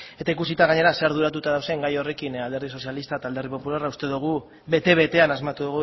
eta ikusita gainera zer arduratuta dauden gai horrekin alderdi sozialistak eta alderdi popularrak uste dugu bete betean asmatu